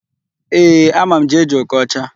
Ee, ama m Jee-Jee Okocha.